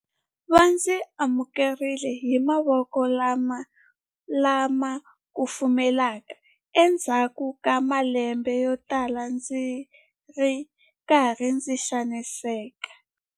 Va ndzi amukerile hi mavoko lama kufumelaka endzhaku ka malembe yotala ndzi ri karhi ndzi xaniseka.